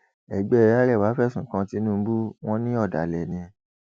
ẹgbẹ arẹwà fẹsùn kan tìǹbù wọn ní ọdàlẹ ni